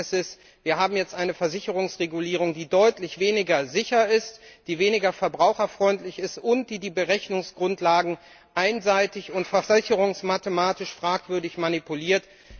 Das Ergebnis ist, wir haben jetzt eine Versicherungsregulierung, die deutlich weniger sicher ist, die weniger verbraucherfreundlich ist, und die die Berechnungsgrundlagen einseitig und versicherungsmathematisch fragwürdig manipuliert.